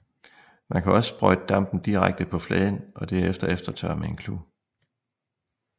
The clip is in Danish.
Man kan også sprøjte dampen direkte på fladen og derefter eftertørre med en klud